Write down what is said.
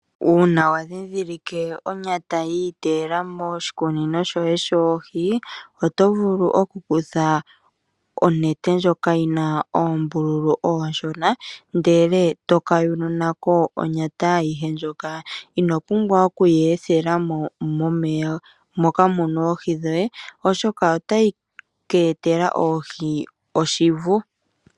Uuna wandhindhilike onyata yi iteyela moshikukunino shoye shoohi otovulu okukutha onete ndjoka yina oombululu oonshona moka muna oohi oshoka otayi ka etela oohi oshivu.